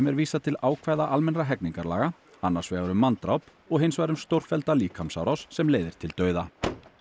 er vísað til ákvæða almennra hegningarlaga annars vegar um manndráp og hins vegar um stórfellda líkamsárás sem leiðir til dauða